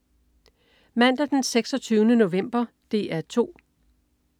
Mandag den 26. november - DR 2: